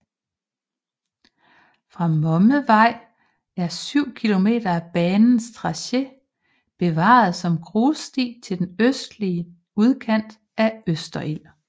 Fra Mommervej er 7 km af banens tracé bevaret som grussti til den østlige udkant af Østerild